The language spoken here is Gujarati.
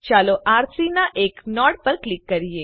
ચાલો આર3 ના એક નોડ પર ક્લિક કરીએ